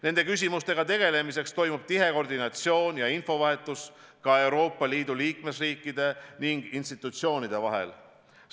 Nende küsimustega tegelemiseks toimub tihe koordinatsioon ja infovahetus ka Euroopa Liidu liikmesriikide ning institutsioonide vahel.